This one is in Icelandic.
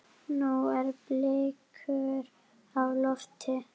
Nú eru blikur á lofti.